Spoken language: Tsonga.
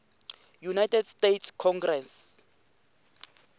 united states congress